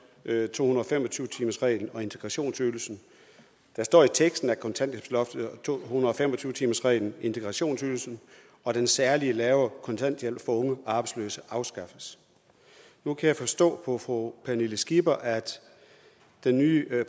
to hundrede og fem og tyve timersreglen og integrationsydelsen der står i teksten at kontanthjælpsloftet to hundrede og fem og tyve timersreglen integrationsydelsen og den særlige lave kontanthjælp for unge arbejdsløse afskaffes nu kan jeg forstå på fru pernille skipper at den nye